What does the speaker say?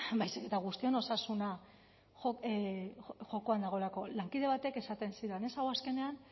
baizik eta guztion osasuna jokoan dagoelako lankide batek esaten zidan hau azkenean